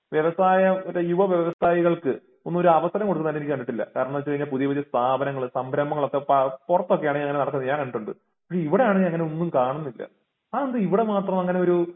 വ്യവസായ ഒരു യുവ വ്യവസായികൾക്ക് ഒന്നും ഒരു അവസരം കൊടുക്കുന്നതായിട്ട് എനിക്ക് കണ്ടിട്ടില്ല കാരണം എന്ന് വെച്ച് കഴിഞ്ഞാൽ പുതിയ പുതിയ സ്ഥാപനങ്ങൾ സംരംഭങ്ങൾ ഒക്കെ പൊറത്തൊക്കെ ആണങ്കി അങ്ങിനെ നടക്കുന്നത് ഞാൻ കണ്ടിട്ടുണ്ട്. ഇവിടെയാണെങ്കി അങ്ങിനെ ഒന്നും കാണുന്നില്ല അതെന്താ ഇവിടെ മാത്രം അങ്ങിനെ ഒരു